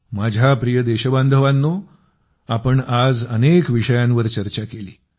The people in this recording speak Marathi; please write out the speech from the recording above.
माझ्या प्रिय देशबांधवांनो आपण आज अनेक विषयांवर चर्चा केली